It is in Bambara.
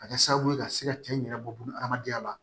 Ka kɛ sababu ye ka se ka cɛ in yɛrɛ bɔ buna hadamadenya la